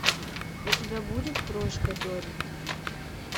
у тебя будет крошка доррит